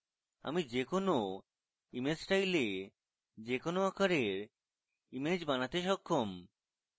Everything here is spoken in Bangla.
আমি যে কোনো image style we যে কোনো আকারের image বানাতে সক্ষম